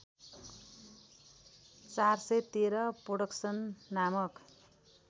४१३ production नामक